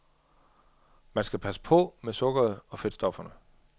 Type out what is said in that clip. Man skal passe på med sukkeret og fedtstofferne.